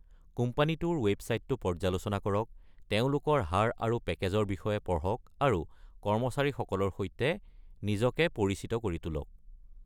কোম্পানীটোৰ ৱেবছাইটটো পৰ্য্যালোচনা কৰক, তেওঁলোকৰ হাৰ আৰু পেকেজৰ বিষয়ে পঢ়ক, আৰু কৰ্মচাৰীসকলৰ সৈতে নিজকে পৰিচিত কৰি তোলক।